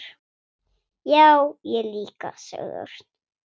Já, ég líka sagði Örn.